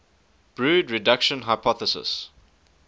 brood reduction hypothesis